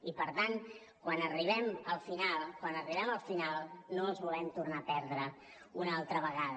i per tant quan arribem al final quan arribem al final no els volem tornar a perdre una altra vegada